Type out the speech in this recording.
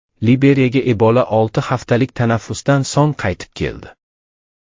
Liberiyaga Ebola olti haftalik tanaffusdan so‘ng qaytib keldi.